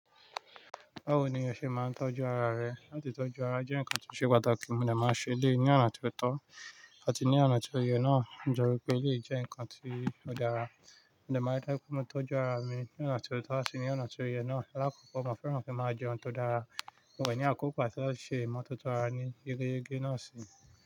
Báwo ni o ṣe máa ń tọ́jú ara rẹ? Láti tọ́jú ara jẹ́ nǹkan tó ṣe pàtàkì, mo dé máa ṣe lé yí ọna tí ó tọ́ àti ní ọna tí ó yẹ náà. Mo jọ́ pé, lé jẹ́ nǹkan tí ó dára. Mo de máa jẹ pé mo tọ́jú ara mi ní ọna tí ó tọ́ àti ní ọna tí ó yẹ náà. Rara, mo ko fẹ́ràn kí mo máa jẹun tó dára. Mo wẹ̀ ní àkókò àti lọ ṣe ìmọ́tótó ara ní eré náà si.